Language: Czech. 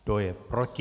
Kdo je proti?